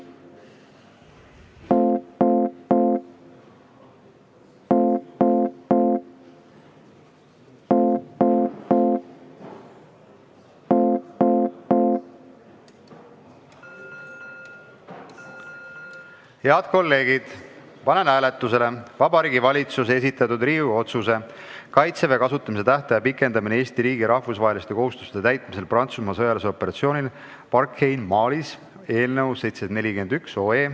Head kolleegid, panen hääletusele Vabariigi Valitsuse esitatud Riigikogu otsuse "Kaitseväe kasutamise tähtaja pikendamine Eesti riigi rahvusvaheliste kohustuste täitmisel Prantsusmaa sõjalisel operatsioonil Barkhane Malis" eelnõu 741.